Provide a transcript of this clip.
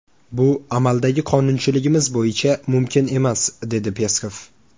Bu amaldagi qonunchiligimiz bo‘yicha mumkin emas”, dedi Peskov.